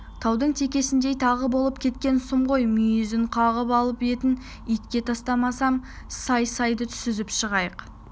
таудың текесіндей тағы болып кеткен сұм ғой мүйізін қағып алып етін итке тастамасам сай-сайды сүзіп шығайық